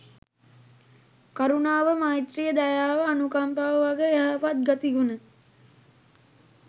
කරුණාව, මෛත්‍රිය, දයාව අනුකම්පාව වගේ යහපත් ගතිගුණ